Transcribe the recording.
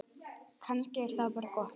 Kannski er það bara gott.